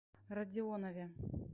родионове